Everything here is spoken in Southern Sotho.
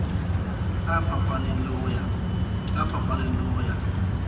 a fapaneng le ho ya